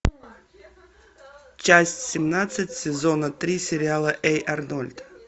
часть семнадцать сезона три сериала эй арнольд